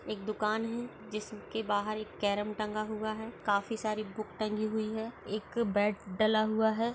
एक दुकान है जिसके बाहर एक केरम टंगा हुआ है काफी सारी बुक टंगी हुई है। एक बैट डला हुआ है।